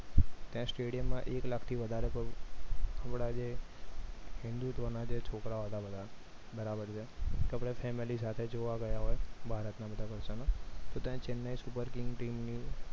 ત્યાં stadium માં એક લાખથી વધારે હમણાં જે હિન્દુત્વ ના છોકરા હતા બધા બરાબર છે family સાથે જોવા ગયા હોય ભારતના બધા તો ત્યાં chennai super king team ની